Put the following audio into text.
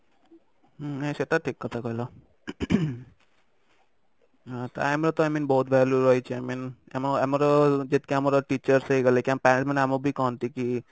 ହଁ ସେଇଟା ଠିକ କଥା କହିଲ time ର ତ i mean ବହୁତ value ରହିଛି i mean ଆମର ଯେତିକି ଆମର teachers ବି ହେଇଗଲେ କି ଆମ parents ମାନେ ବି ଆମକୁ କହନ୍ତି କି